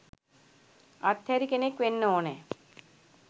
අත් හැරි කෙනෙක් වෙන්න ඕනැ.